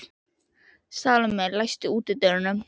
Salome, læstu útidyrunum.